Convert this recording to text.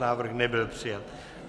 Návrh nebyl přijat.